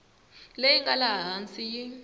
leyi nga laha hansi yi